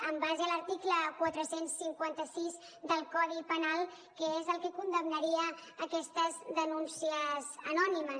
en base a l’article quatre cents i cinquanta sis del codi penal que és el que condemnaria aquestes denúncies anònimes